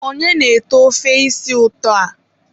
onye na-ete ofe isi ụtọ a?